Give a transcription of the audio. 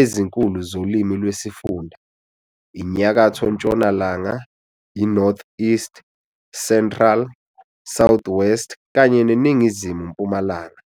ezinkulu zolimi lwesifunda - iNyakatho-ntshonalanga, iNortheast, Central, Southwest kanye neNingizimu-mpumalanga.